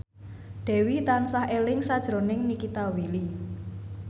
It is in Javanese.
Dewi tansah eling sakjroning Nikita Willy